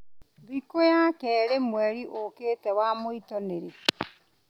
thikũ ya keerĩ mweri ũkĩĩte wa mont nĩ rĩ